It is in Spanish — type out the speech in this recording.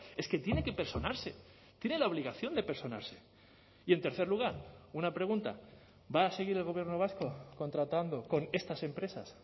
es que tiene que personarse tiene la obligación de personarse y en tercer lugar una pregunta va a seguir el gobierno vasco contratando con estas empresas